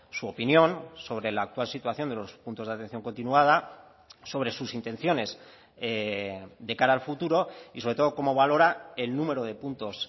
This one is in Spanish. su opinión sobre la actual situación de los puntos de atención continuada sobre sus intenciones de cara al futuro y sobre todo cómo valora el número de puntos